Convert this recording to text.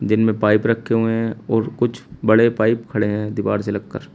जिन में पाइप रखे हुए हैं और कुछ बड़े पाइप खड़े हैं दीवार से लगकर।